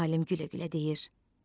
Alim gülə-gülə deyir: